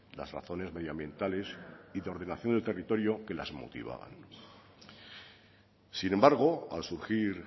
las razones medioambientales y de ordenación del territorio que las motivaban sin embargo al surgir